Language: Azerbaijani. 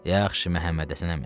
Yaxşı, Məhəmmədhəsən əmi.